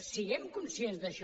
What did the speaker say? siguem conscients d’això